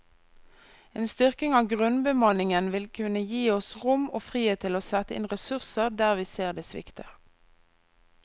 En styrking av grunnbemanningen vil kunne gi oss rom og frihet til å sette inn ressurser der vi ser det svikter.